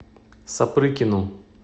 сапрыкину